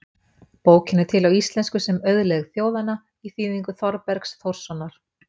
Bókin er til á íslensku sem Auðlegð þjóðanna í þýðingu Þorbergs Þórssonar.